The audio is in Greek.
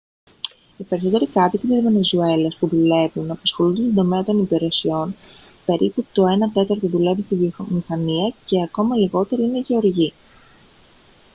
οι περισσότεροι κάτοικοι της βενεζουέλας που δουλεύουν απασχολούνται στον τομέα των υπηρεσιών περίπου το ένα τέταρτο δουλεύει στη βιομηχανία και ακόμα λιγότεροι είναι γεωργοί